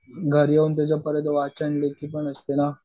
घरी येऊन परत त्याचं वाचन लेखी पण असते ना.